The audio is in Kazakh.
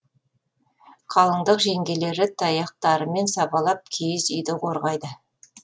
қалыңдық жеңгелері таяқтарымен сабалап киіз үйді қорғайды